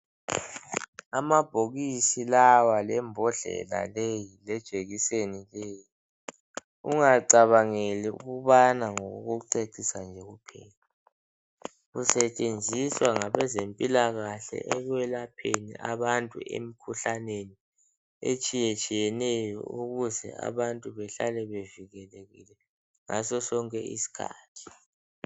Amabhokisi lawa lembodlela leyi lejekiseli leyi ungacabangeli ukubana ngokokucecisa nje kuphela kusetshenziswa ngabezempilakahle ekwelapheni abantu emikhuhlaneni etshiyetshiyeneyo ukuze abantu behlale bevikelekile ngaso sonke isikhathi.